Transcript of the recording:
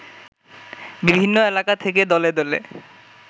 বিভিন্ন এলাকা থেকে দলে দলে